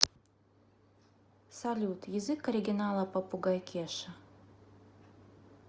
салют язык оригинала попугай кеша